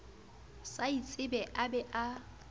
sa itsebe a be a